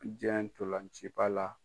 Diɲɛ ntɔlanciba la.